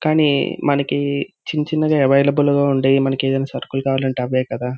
కానీ మనకి చిన్న చిన్నగా అవైలబుల్ ఉండే మనకు ఏదైనా సరుకులు కావాలి అంటే అవే కదా.